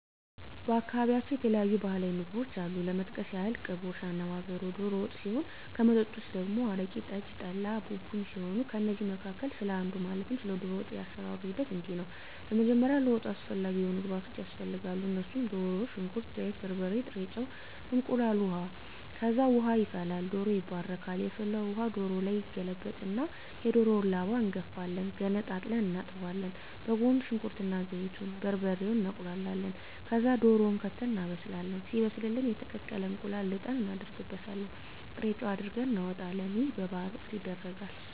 በአካባቢያቸው የተለያዩ ባህላዊ ምግቦች አሉ ለመጥቀስ ያክል ቅቦሽ፣ አነባበሮ፣ ዶሮ ወጥ ሲሆን ከመጠጦች ደግሞ አረቂ፣ ጠጅ፣ ጠላ፣ ቡቡኝ ሲሆኑ ከእነዚህ መካከል ስለ አንዱ ማለትም ስለ ዶሮ ወጥ የአሰራሩ ሂደት እንዲህ ነው በመጀመሪያ ለወጡ አስፈላጊ የሆኑ ግብዓቶች ያስፈልጋሉ እነሱም ድሮ፣ ሽንኩርት፣ ዘይት፣ በርበሬ፣ ጥሬ ጨው፣ እንቁላል፣ ውሀ፣ ከዛ ውሃ ይፈላል ዶሮው ይባረካል የፈላውን ውሀ ዶሮው ላይ ይገለበጣል እና የዶሮውን ላባ እንጋፍፋለን ገነጣጥለን እናጥባለን በጎን ሽንኩርት እና ዘይቱን፣ በርበሬውን እናቁላላለን ከዛ ድሮውን ከተን እናበስላለን ሲበስልልን የተቀቀለ እንቁላል ልጠን እናረግበታለን ጥሬጨው አርገን እናወጣለን ይህ በበዓል ወቅት ይደረጋል።